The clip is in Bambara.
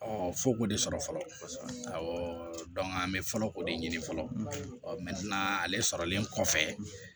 f'o k'o de sɔrɔ fɔlɔ awɔ an bɛ fɔlɔ o de ɲini fɔlɔ ale sɔrɔlen kɔfɛ